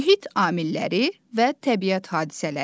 Mühit amilləri və təbiət hadisələri.